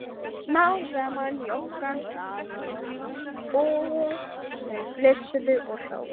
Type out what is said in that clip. Smám saman jók hann hraðann og þau flissuðu og hlógu.